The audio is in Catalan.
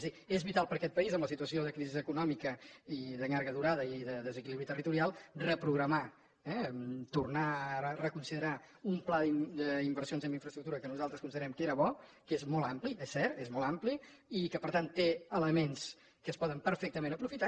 és a dir és vital per a aquest país en la situació de crisi econòmica i de llarga durada i de desequilibri territorial reprogramar eh tornar a reconsiderar un pla d’inversions en infraestructura que nosaltres considerem que era bo que és molt ampli és cert és molt ampli i que per tant té elements que es poden perfectament aprofitar